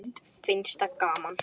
Finnst það gaman.